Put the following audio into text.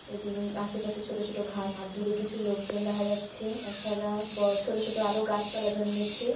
এদিন আশেপাশে ছোট ছোট ঘাস আর দূরে কিছু লোকজন দেখা যাচ্ছে। তাছাড়া বড়ো ছোট ছোট আরো গাছপালা জন্মেছে ।